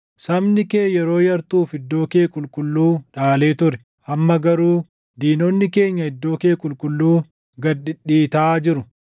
Sabni kee yeroo yartuuf iddoo kee qulqulluu dhaalee ture; amma garuu diinonni keenya iddoo kee qulqulluu // gad dhidhiitaa jiru.